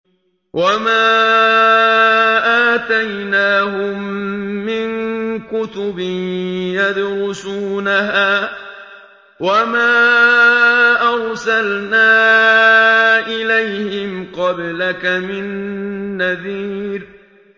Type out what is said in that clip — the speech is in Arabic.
وَمَا آتَيْنَاهُم مِّن كُتُبٍ يَدْرُسُونَهَا ۖ وَمَا أَرْسَلْنَا إِلَيْهِمْ قَبْلَكَ مِن نَّذِيرٍ